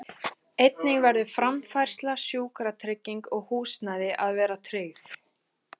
Einnig verður framfærsla, sjúkratrygging og húsnæði að vera tryggð.